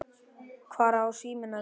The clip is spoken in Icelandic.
Hvar á síminn að vera?